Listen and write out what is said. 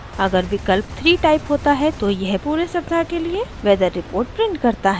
अगर विकल्प 3 टाइप होता है तो यह पूरे सप्ताह के लिए वेदर रिपोर्ट प्रिंट करता है